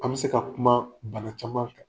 An be se ka kumaa bana caman kan.